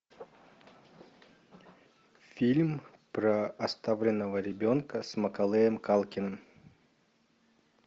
фильм про оставленного ребенка с маколеем калкиным